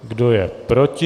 Kdo je proti?